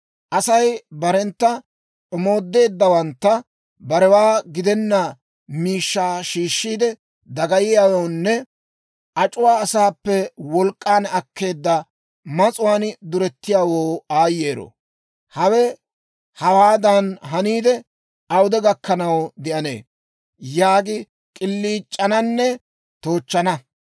«Asay barentta omoodeeddawantta, ‹Barewaa gidenna miishshaa shiishshiide dagayiyaawoonne ac'uwaa asaappe wolk'k'an akkeedda mas'uwaan durettiyaawoo aayyero! Hawe hawaadan haniidde, awude gakkanaw de'anee?› yaagi k'iliic'ananne toochchana.